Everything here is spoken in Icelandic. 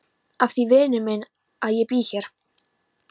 Af því vinur minn að ég bý hér.